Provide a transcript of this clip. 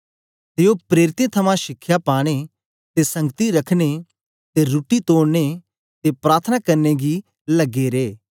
ते ओ प्रेरितें थमां शिखया पाने ते संगति रखने ते रुट्टी तोड़ने ते प्रार्थना करने गी लगे रे